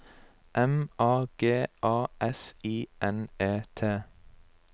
M A G A S I N E T